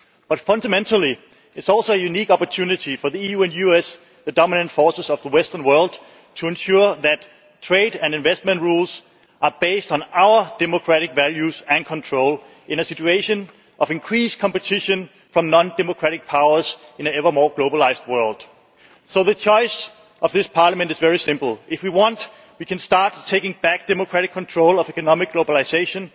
But fundamentally, it is also a unique opportunity for the EU and US the dominant forces of the western world to ensure that trade and investment rules are based on our democratic values and control in a situation of increased competition from non democratic powers in an ever more globalised world. So the choice of this Parliament is very simple if we want, we can start taking back democratic control of economic globalisation.